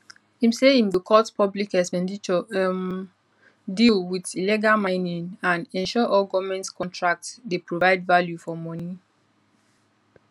im say im go cut public expenditure um deal wit illegal mining and ensure all goment contracts dey provide value for money